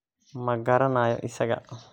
Ma garanayo isaga.